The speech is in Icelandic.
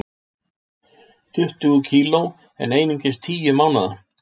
Tuttugu kg en einungis tíu mánaða